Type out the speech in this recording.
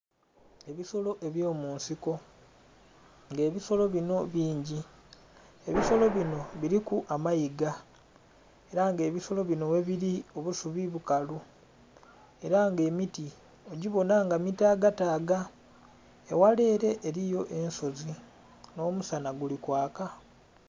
Ebisolo ebyomunsiko nga ebisolo binho bingi, ebisolo binho biliku amaiga era nga ebisolo binho ghabiri obusubi bukalu era nga emiti ogibonha nga mitaga taga eghala ere eriyo ensozi nho musanha guli kwaka.